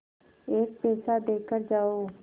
एक पैसा देकर जाओ